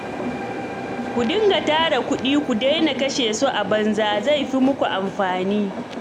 Ku dinga tara kuɗi ku daina kashe su a banza, zai fi muku amfani